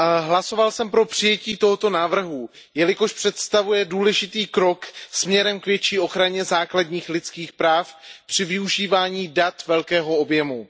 Hlasoval jsem pro přijetí tohoto návrhu, jelikož představuje důležitý krok směrem k větší ochraně základních lidských práv při využívání dat velkého objemu.